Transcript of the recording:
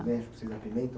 México, você apimentam?